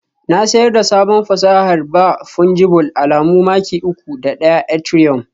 Na siyar da sabon fasahar ba Fungible alamu maki uku da ɗaya Ethereum